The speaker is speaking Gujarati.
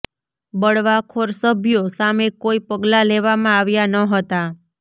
બળવાખોર સભ્યો સામે કોઈ પગલાં લેવામાં આવ્યા ન હતા